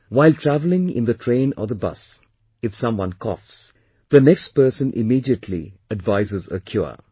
While travelling in the train or the bus if someone coughs, the next person immediately advises a cure